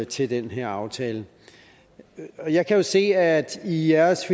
til den her aftale jeg kan se at i i jeres